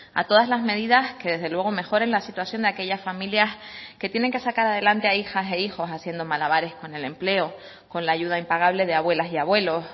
a todas las medidas que desde luego mejoren la situación de aquellas familias que tienen que sacar adelante a hijas e hijos haciendo malabares con el empleo con la ayuda impagable de abuelas y abuelos